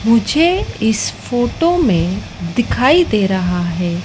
मुझे इस फोटो में दिखाई दे रहा है।